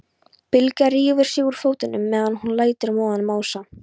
Bylgja rífur sig úr fötunum meðan hún lætur móðan mása.